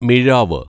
മിഴാവ്